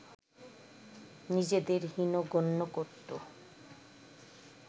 নিজেদের হীন গণ্য করত